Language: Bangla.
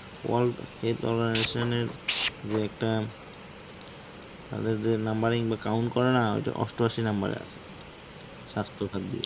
world health organization এর যে একটা তাদের যে numbering বা count করে না, ঐটা অষ্ট আশি number এ আছে, স্বাস্থ্যখাত বিষয়ে